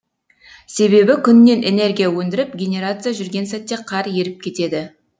себебі күннен энергия өндіріп генерация жүрген сәтте қар еріп кетеді